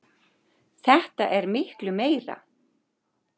Þetta er miklu meira.